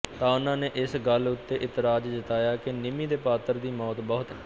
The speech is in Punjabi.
ਤਾਂ ਉਨ੍ਹਾਂ ਨੇ ਇਸ ਗੱਲ ਉੱਤੇ ਇਤਰਾਜ ਜਤਾਇਆ ਕਿ ਨਿਮੀ ਦੇ ਪਾਤਰ ਦੀ ਮੌਤ ਬਹੁਤ